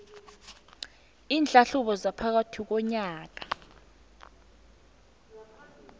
iinhlahlubo zaphakathi konyaka